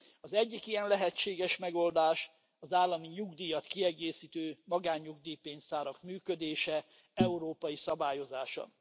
Az egyik ilyen lehetséges megoldás az állami nyugdíjat kiegészítő magánnyugdíjpénztárak működésének európai szabályozása.